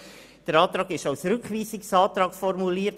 Unser Antrag ist als Rückweisungsantrag formuliert.